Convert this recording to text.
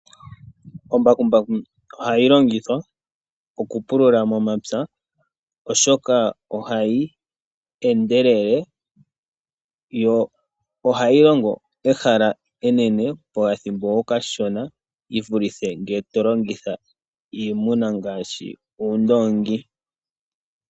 Ombakumbaku ohayi longithwa okupulula momapya oshoka ohayi endelele, yo ohayi longo ehala enene pokathimbo okashona yi vulithe ngele to longitha iimuna ngaashi uundoongi.